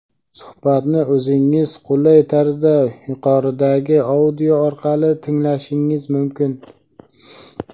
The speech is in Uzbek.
Suhbatni o‘zingizga qulay tarzda yuqoridagi audio orqali tinglashingiz mumkin.